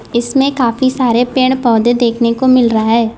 इसमें काफी सारे पेड़ पौधे देखने को मिल रहा है।